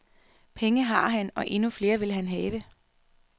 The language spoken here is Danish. Penge har han og endnu flere vil han have.